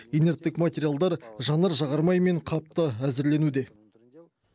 инерттік материалдар жанар жағармай мен қап та әзірленуде